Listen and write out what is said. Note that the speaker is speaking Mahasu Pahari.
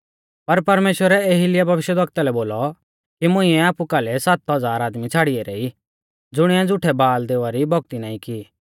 पर परमेश्‍वरै एलिय्याह भविष्यवक्ता लै बोलौ कि मुंइऐ आपु काल़ै सात हज़ार आदमी छ़ाड़ी ऐरै ई ज़ुणिऐ झ़ुठै बाल देवा री भौक्ती नाईं की